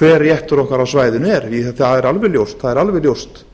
hver réttur konar á svæðinu er það er alveg ljóst